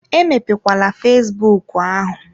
Emepe kwala fesbụụk ahụ!